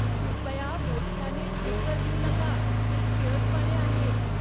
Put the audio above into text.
कृपया मोठयाने ढेकर देऊ नका, ते किळसवाणे आहे.